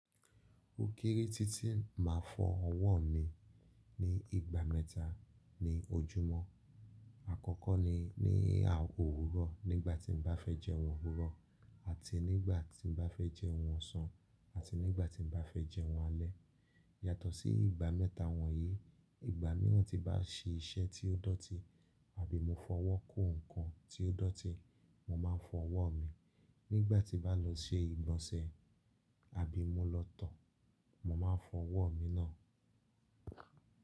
Ò kèrè tí tí màá fọ ọwọ́ mi ní ìgbà mẹ́ta ní ojúmọ́. Àkọ́kọ́ ni ní àkoko òwúrọ̀ nígbàtí n bá fẹ́ jẹ́un òwúrọ̀ àti nígbàtí n bá fẹ́ jẹ́un ọ̀sán àti nígbàtí n bá fẹ́ jẹ́un alẹ́. Yàtọ̀ sí ìgbà mẹ́ta wọ̀nyí, ìgbà míràn tí bá sì iṣẹ́ tí ó dọ̀tí àbí mo fọwọ́ kó nǹkan tí ó dọ̀tí, mó máa n fọ ọwọ́ mi. Nígbàtí bá lọ ṣe ìgbọ̀nsẹ̀ àbí mo lọ tọ, mó máa n fọ ọwọ́ mi náà.